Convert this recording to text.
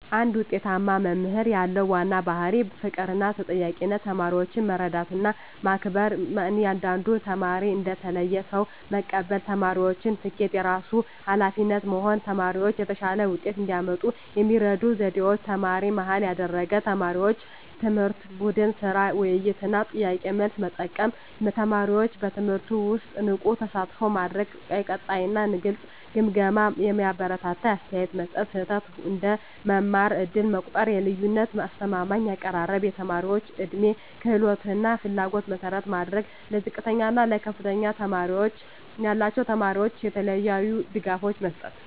አንድ ውጤታማ መምህር ያለው ዋና ባሕርይ ፍቅርና ተጠያቂነት ተማሪዎችን መረዳትና መከበር እያንዳንዱን ተማሪ እንደ ተለየ ሰው መቀበል የተማሪዎችን ስኬት የራሱ ኃላፊነት መሆን ተማሪዎች የተሻለ ውጤት እንዲያመጡ የሚረዱ ዘዴዎች ተማሪ-መሃል ያደረገ አስተማማኝ ትምህርት ቡድን ሥራ፣ ውይይት እና ጥያቄ–መልስ መጠቀም ተማሪዎችን በትምህርቱ ውስጥ ንቁ ተሳትፎ ማድረግ የቀጣይ እና ግልጽ ግምገማ የሚያበረታታ አስተያየት መስጠት ስህተት እንደ መማር ዕድል መቆጠር የልዩነት አስተማማኝ አቀራረብ የተማሪዎች ዕድሜ፣ ክህሎት እና ፍላጎት መሠረት ማድረግ ለዝቅተኛ እና ለከፍተኛ ችሎታ ያላቸው ተማሪዎች የተለያዩ ድጋፎች መስጠት